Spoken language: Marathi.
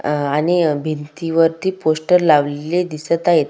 अ अणि भिंती वरती पोस्टर लावलेले दिसत आहेत.